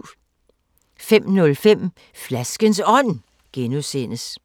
05:05: Flaskens Ånd (G) 06:05: